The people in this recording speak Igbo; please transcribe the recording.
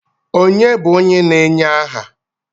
Ònye bụ onye na-enye aha?